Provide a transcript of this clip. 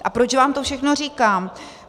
Ale proč vám to všechno říkám.